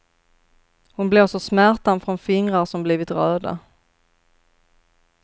Hon blåser smärtan från fingrar som blivit röda.